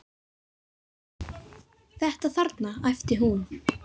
Þetta þarna, æpti hún.